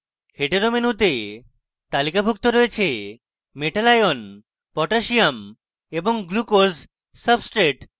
hetero মেনুতে তালিকাভুক্ত রয়েছে metal ion potassium এবং glucose substrate